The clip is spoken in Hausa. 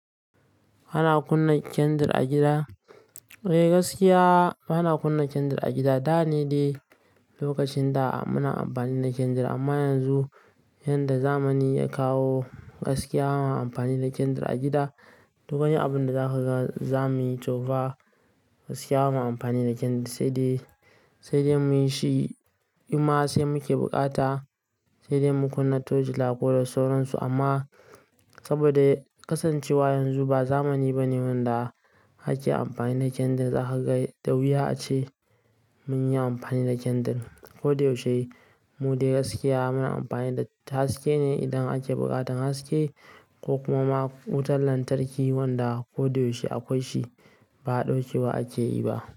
Hana kunna kendir a gida? Eh, gaskiya bana kunna kendir a gida. Da ne dai lokacin da muna amfani da kendir amma yanzu yadda zamani ya kawo gaskiya ba ma amfani da kendir a gida. Duk anyi abunda za kaga zamuyi tofa gaskiya ba ma amfani da kendir sai dai, sai dai muyi shi. Imma sai muke bukata sai dai mu kunna tojila ko da sauransu amma saboda kasancewa yanzu ba zamani bane wanda ake amfani da kendir. Za kaga da wuya ace muyi amfani da kendir. Ko da yaushe mu dai gaskiya muna amfani da haske ne idan ake buƙatan haske ko kuma wutar lantarki wanda ko da yaushe akwai shi ba ɗaukewa ake yi ba.